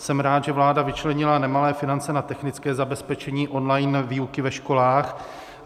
Jsem rád, že vláda vyčlenila nemalé finance na technické zabezpečení online výuky ve školách.